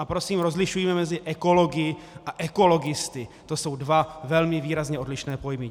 A prosím rozlišujme mezi ekology a ekologisty, to jsou dva velmi výrazně odlišné pojmy.